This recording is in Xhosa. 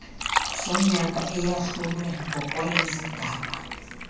sonyaka eyahlulwe ngokwezigaba